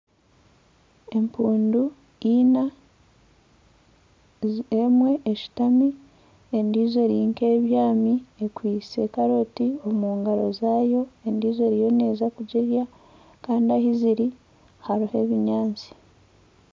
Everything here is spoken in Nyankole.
Empundu Ina emwe eshutami endiijo eri nk'ebyami ekwitse karoti omu ngaro zaayo endiijo eriyo neeza kugirya kandi ahu ziri hariho ebinyatsi